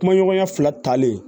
Kuma ɲɔgɔnya fila talen